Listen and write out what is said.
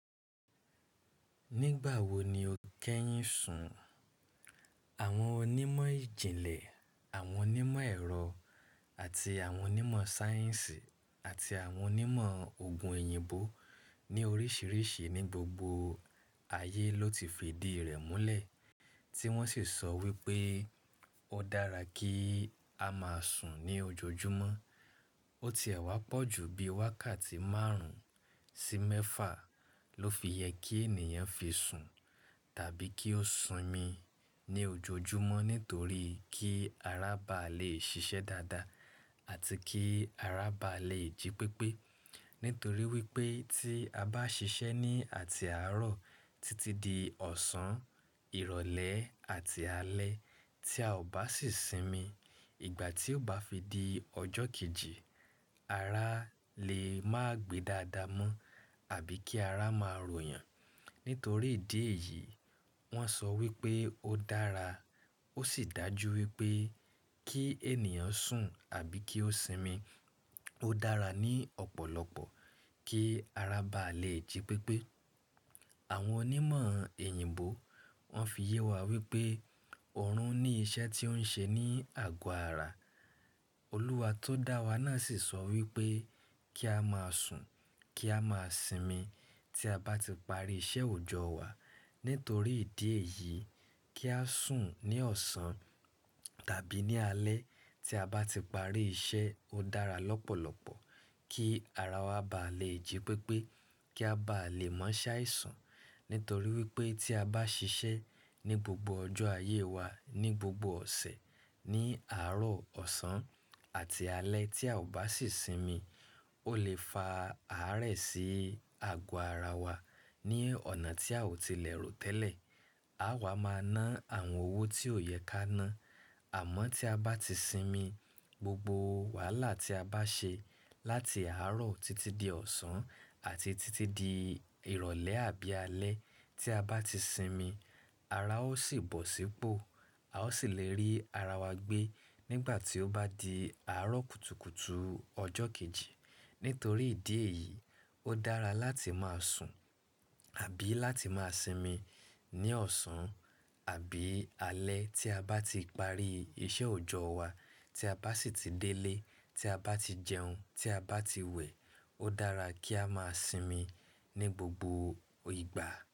Nígbà wo ni o kẹ́yìn sùn? Àwọn onímọ̀ ìjìnlẹ̀, àwọn onímọ̀ ẹ̀rọ àti àwọn onímọ̀ sáyẹ́ǹsì àti àwọn onímọ̀ ogun èyìǹbó ní oríṣìíríṣìí ní gbogbo ayé ló ti fi ìdí rẹ̀ múlẹ̀ tí wọ́n ṣì sọ wí pé ó dára kí a máa sùn ní ojoojúmọ́. Ó ti ẹ̀ wá pọ̀jù bí wákàtí márùn sí mẹ́fà ló fi yẹ kí ènìyàn fi sùn tàbí kí ó sinmi ní ojoojúmọ́ nítorí kí ara bá lè ṣiṣẹ́ dáadáa àti kí ara bá lè jí pépé. Nítorí wípé tí a bá ṣiṣẹ́ ní àti àárọ̀ títí di ọ̀sán, ìrọ̀lẹ́ àti alẹ́ tí a ò bá sì sinmi, ìgbà tí ó bá fi di ọjọ́ kejì ara lè má gbe dáadáa mọ́ àbí kí ara máa ròyàn. Nítorí ìdí èyí, wọ́n sọ wípé ó dára, ó sì dájú wípé kí ènìyàn sùn àbí kí ó sinmi ó dára ní ọ̀pọ̀lọpọ̀ kí ara bá lè jí pépé. Àwọn onímọ̀ èyìǹbó wọ́n fi yẹ wá wípé ọ̀run ní iṣẹ́ tí ó ń ṣe ní àgọ ara. Olúwa tó dá wa náà sì sọ wípé kí a máa sùn kí a máa sinmi tí a bá ti parí iṣẹ́ òjọ́ wa. Nítorí ìdí èyí, kí a sùn ní ọ̀sán tàbí ní alẹ́ tí a bá ti parí iṣẹ́ ó dára lọ́pọ̀lọpọ̀ kí ara wa bá lè jí pépé kí a bá lè má ṣáìsùn. Nítorí wípé tí a bá ṣiṣẹ́ ní gbogbo ọjọ́ ayé wa ní gbogbo ọ̀sẹ̀ ní àárọ̀, ọ̀sán àti alẹ́ tí a ò bá sì sinmi, ó lè fa àárẹ̀ sí àgọ ara wa ní ọ̀nà tí a ò tilẹ̀ rò tẹ́lẹ̀. Áá wa máà ná àwọn owó tí ò yẹ ká ná. Àmọ́ tí a bá ti sinmi gbogbo wàhálà tí a bá ṣe láti àárọ̀ títí di ọ̀sán àti títí di ìrọ̀lẹ́ àbí alẹ́ tí a bá ti sinmi ara ó sì bọ̀ sípò, a ó sì lè rí ara wa gbé nígbà tí ó bá di àárọ̀ kùtùkùtù ọjọ́ kejì. Nítorí ìdí èyí, ó dára láti máa sùn àbí láti máa sinmi ní ọ̀sán àbí alẹ́ tí a bá ti parí iṣẹ́ òjọ́ wa tí a bá sì ti délé, tí a bá ti jẹun tí a bá ti wẹ̀ ó dára kí a máa sinmi ní gbogbo ìgbà.